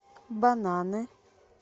бананы